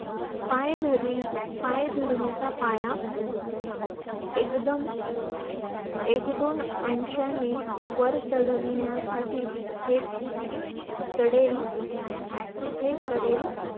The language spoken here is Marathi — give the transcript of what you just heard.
पायधरी पायधरणीचा पाया एकदम एक दोन अंशानी वर चढवण्यासाठी हे चढेल हे चढेल